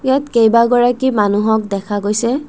ইয়াত কেইবাগৰাকী মানুহক দেখা গৈছে।